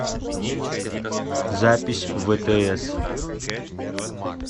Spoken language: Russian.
запись втс